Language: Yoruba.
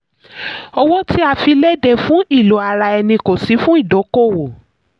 owó tí a fi léde: fún ilò ara ẹni kó sí fún ìdókòwò.